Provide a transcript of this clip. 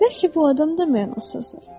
Bəlkə bu adam da mənasızdır.